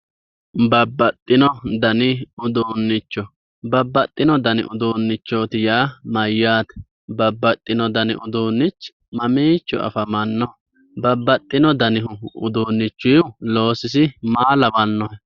Babbaxxino dani uduunnicho, babbaxxino dani uduunnicho yaa mayyaate? bababxxino dani uduunnichi mama afamannoho? babbaxxino dani uduunnichi loosi maa lawannohe?